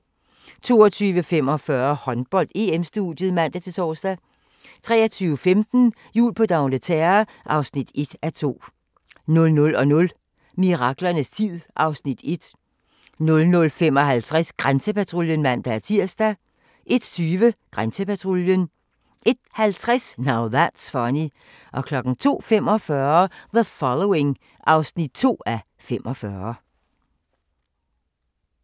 22:45: Håndbold: EM-studiet (man-tor) 23:15: Jul på d'Angleterre (1:2) 00:00: Miraklernes tid (Afs. 1) 00:55: Grænsepatruljen (man-tir) 01:20: Grænsepatruljen 01:50: Now That's Funny 02:45: The Following (12:45)